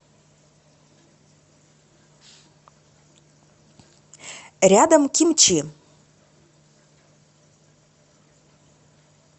рядом кимчи